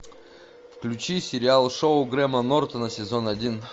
включи сериал шоу грэма нортона сезон один